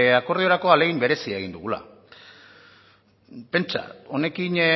akordiorako ahalegin berezia egin dugula pentsa honekin